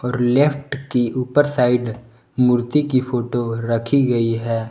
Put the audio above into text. और लेफ्ट की ऊपर साइड मूर्ति की फोटो रखी गई है।